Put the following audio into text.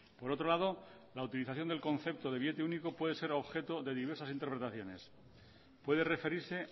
por otro lado la utilización del concepto de billete único puede ser objeto de diversas interpretaciones puede referirse